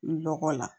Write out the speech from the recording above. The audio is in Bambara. N dɔgɔ la